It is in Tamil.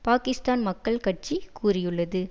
பாக்கிஸ்தான் மக்கள் கட்சி கூறியுள்ளது